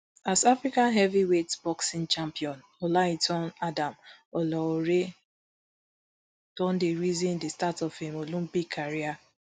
as african heavyweight boxing champion olaitan adam olaore don dey reason di start of im olympic career